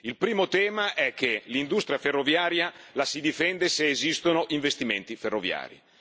Il primo tema è che l'industria ferroviaria la si difende se esistono investimenti ferroviari.